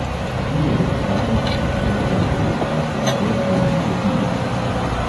Špela je vstala, stekla proti španskemu bezgu in proti ulici.